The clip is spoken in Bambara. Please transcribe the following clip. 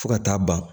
Fo ka taa ban